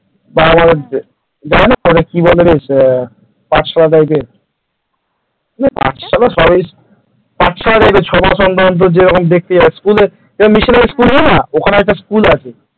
ওটা কি বলে বেশ পাঠশালা type র পাঠশালার সবই পাঠশালা type র যেরকম দেখতে school যেরকম মেশিনের school হয় না school আছে ।